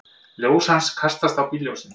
Ljós hans kastast á bílljósin.